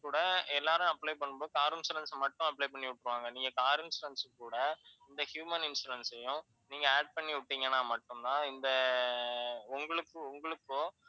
கூட எல்லாரும் apply பண்ணும்போது, car insurance அ மட்டும் apply பண்ணி வைப்பாங்க. நீங்க car insurance கூட இந்த human insurance சையும் நீங்க add பண்ணி வைப்பிங்கன்னா மட்டும் தான் இந்த உங்களுக்கு, உங்களுக்கோ